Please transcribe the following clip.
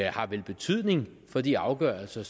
har vel betydning for de afgørelser